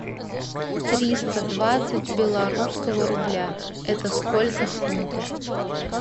триста двадцать белорусского рубля это сколько в фунтах